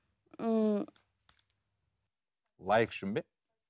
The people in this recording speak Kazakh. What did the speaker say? ыыы лайк үшін бе